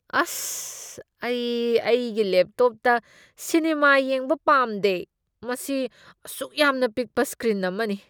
ꯑꯁ꯫ ꯑꯩ ꯑꯩꯒꯤ ꯂꯦꯞꯇꯣꯞꯇ ꯁꯤꯅꯦꯃꯥ ꯌꯦꯡꯕ ꯄꯥꯝꯗꯦ꯫ ꯃꯁꯤ ꯑꯁꯨꯛ ꯌꯥꯝꯅ ꯄꯤꯛꯄ ꯁ꯭ꯀ꯭ꯔꯤꯟ ꯑꯃꯅꯤ꯫